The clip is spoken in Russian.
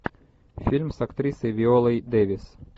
фильм с актрисой виолой дэвис